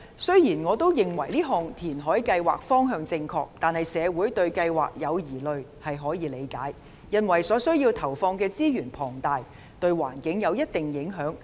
雖然我認為這項填海計劃方向正確，但社會對計劃有疑慮，是可以理解的，因為需要投放的資源龐大，對環境亦有一定影響。